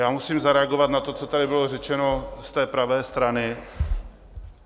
Já musím zareagovat na to, co tady bylo řečeno z té pravé strany.